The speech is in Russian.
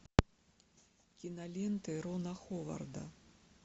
киноленты рона ховарда